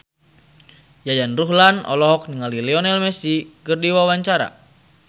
Yayan Ruhlan olohok ningali Lionel Messi keur diwawancara